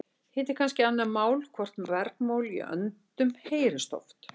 Hitt er kannski annað mál hvort bergmál í öndum heyrist oft.